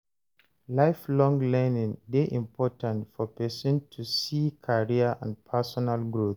Lifelong learning de important for persin to see career and personal growth